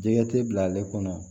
Jɛgɛ tɛ bila ale kɔnɔ